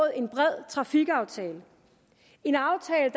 en bred trafikaftale en aftale